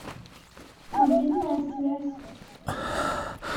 мобильная связь